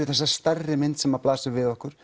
þessa stærri mynd sem blasir við okkur